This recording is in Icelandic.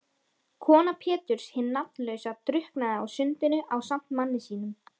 Kona Péturs hin nafnlausa drukknaði á sundinu ásamt manni sínum.